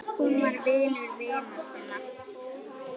Hún var vinur vina sinna.